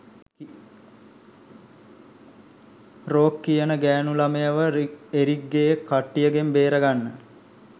rogue කියන ගෑණු ළමයව එරික්ගේ කට්ටියගෙන් බේරගන්න